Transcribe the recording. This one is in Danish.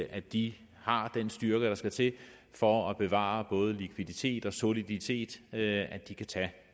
at de har den styrke der skal til for at bevare både likviditet og soliditet at de kan tage